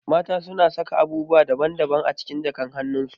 Mata na saka abubuwa daban daban a cikin jakan hanun su